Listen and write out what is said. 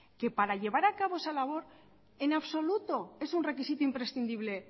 que para llevar a cabo esa labor en absoluto es un requisito imprescindible